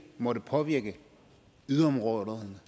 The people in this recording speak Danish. måtte påvirke yderområderne